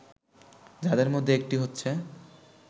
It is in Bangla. যাদের মধ্যে একটি হচ্ছে